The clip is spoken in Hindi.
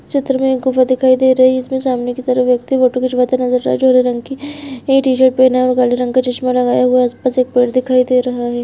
चित्र में एक गुफा दिखाई दे रही है जिसमे सामने की तरफ एक व्यक्ति फोटो खिंचवाते नजर जो हरे रंग की टीशर्ट पहना है और काले रंग का चश्मा लगाया हुआ है उस पर से एक पेड़ दिखाई दे रहा है।